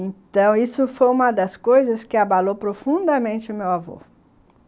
Então, isso foi uma das coisas que abalou profundamente o meu avô.